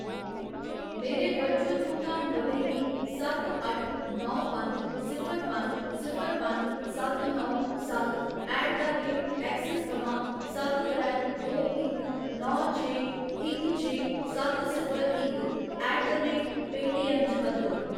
मेरे वर्चुअल भुगतान पते गी सत्त अट्ठ नौ पंज सिफर पंज सिफर पंज सत्त नौ सत्त ऐट द रेट ऐक्सिस थमां सत्त त्रै दो इक नौ छे इक छे सत्त सिफर इक ऐट द रेट पेऽटीऐम्म च बदलो।